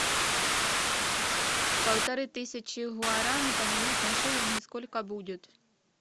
полторы тысячи гуарани поменять на шиллинги сколько будет